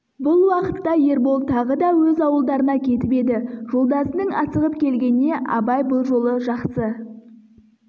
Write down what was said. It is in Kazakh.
бұл уақытта ербол тағы да өз ауылдарына кетіп еді жолдасының асығып келгеніне абай бұл жолы жақсы